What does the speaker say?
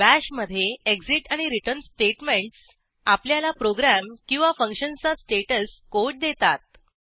bash मधे exit आणि return statements आपल्याला प्रोग्रॅम किंवा फंक्शनचा स्टेटस कोड देतात